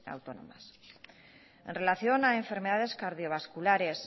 autónomas en relación a enfermedades cardiovasculares